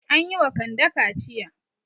An yi wa Kande kaciya.